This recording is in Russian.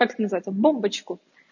как это называется бомбочку